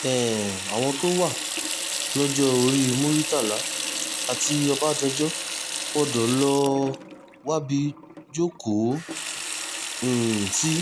um àwọn tó wà lọ́jọ́-orí muritàlá àti ọbadànjọ gbọ́dọ̀ lọ́ọ́ wábi jókòó um sí